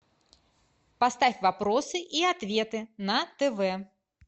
поставь вопросы и ответы на тв